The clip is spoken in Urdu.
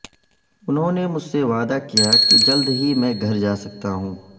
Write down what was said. انہوں نے مجھ سے وعدہ کیا کہ جلد ہی میں گھر جا سکتا ہوں